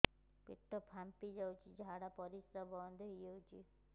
ପେଟ ଫାମ୍ପି ଯାଉଛି ଝାଡା ପରିଶ୍ରା ବନ୍ଦ ହେଇ ଯାଉଛି